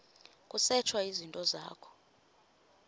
kusetshwe izinto zakho